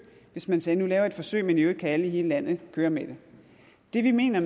hvis man sagde nu laver vi et forsøg men i øvrigt kan alle i hele landet kører med det det vi mener